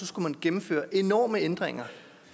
skulle gennemføres enorme ændringer